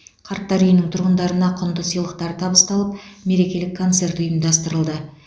қарттар үйінің тұрғындарына құнды сыйлықтар табысталып мерекелік концерт ұйымдастырылды